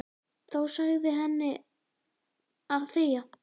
Þá sagði hann henni að þegja.